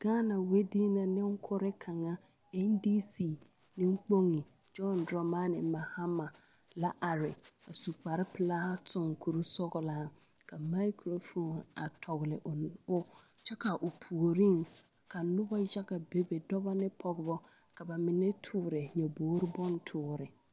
Gaana wederee e ŋa NDC neŋ kpoŋ amount Dramani Mahama a su kpare pelaa a tuŋ kuri sɔglaa kamaakuro fooni a tɔgle o kyɛ ka o puoriŋ ka noba yaga bebe bidɔbɔ ne pɔgeba ka ba mine tɔɔre nyɔbogri woore.